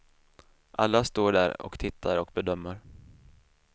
Alla står där och tittar och bedömer.